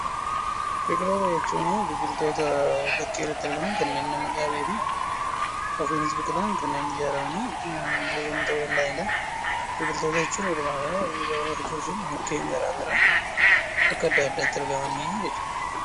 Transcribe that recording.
biqiloota jechuun biqiltoota bakkee irratti argaman kanneen namani dhaabee fi ofiinis biqilan kanneen ijaaramanii bosona ta'uu danda'anidha. Biqiltoota jechuun walumaa gala gabaabamatti mukkeen garaagaraa bakka addaa addaatti argaman jechuudha.